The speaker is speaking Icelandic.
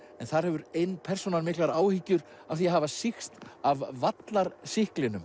þar hefur ein persónan miklar áhyggjur af því að hafa sýkst af